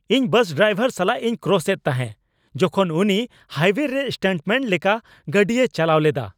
ᱤᱧ bus driver ᱥᱟᱞᱟᱜ ᱤᱧ ᱠᱨᱚᱥ ᱮᱫ ᱛᱟᱦᱮᱸ ᱡᱚᱠᱷᱚᱱ ᱩᱱᱤ ᱦᱟᱭᱳᱭᱮᱨᱮ ᱥᱴᱟᱱᱴᱢᱮᱹᱱ ᱞᱮᱠᱟ ᱜᱟᱹᱰᱤᱭ ᱪᱟᱞᱟᱣ ᱞᱮᱫᱟ ᱾